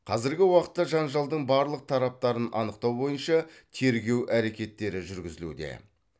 қазіргі уақытта жанжалдың барлық тараптарын анықтау бойынша тергеу әрекеттері жүргізілуде